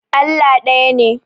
Allah ɗaya ne.